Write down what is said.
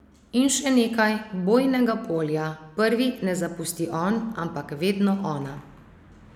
In še nekaj: "bojnega polja" prvi ne zapusti on, ampak vedno ona ...